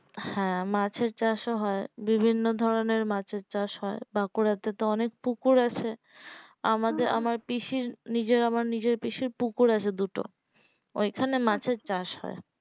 হ্যাঁ মাছের চাষও হয় বিভিন্ন ধরণের মাছের চাষ হয় বাঁকুড়া তে তো অনেক পুকুর আছে আমাদের আমার পিসির নিজের আমার পিসির পুকুর আছে দুটো ওই খানে মাছের চাষ হয়